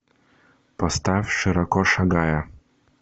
поставь широко шагая